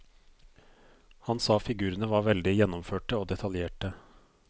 Han sa figurene var veldig gjennomførte og detaljerte.